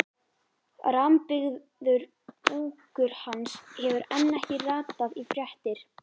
Rammbyggður búkur hans hefur enn ekki ratað í fréttir.